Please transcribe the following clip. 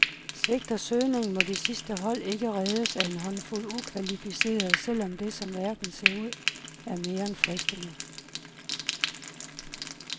Svigter søgningen, må de sidste hold ikke reddes af en håndfuld ukvalificerede, selv om det, som verden ser ud, er mere end fristende.